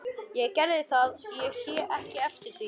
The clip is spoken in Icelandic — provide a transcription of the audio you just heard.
Ég gerði það og sé ekki eftir því.